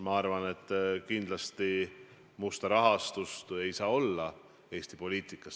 Ma arvan, et kindlasti musta rahastust ei saa olla Eesti poliitikas.